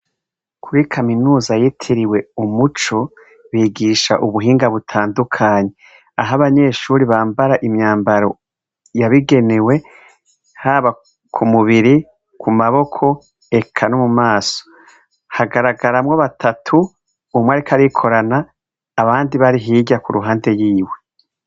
Kuri kaminuza yitiriwe umuco bigisha ubuhinga butandukanye aho abanyeshure bambara imyambaro yabigenewe haba ku mubiri, ku maboko eka no mu maso hagaragaramwo batatu; umwe ariko arikorana abandi bari hirya ku ruhande yiwe.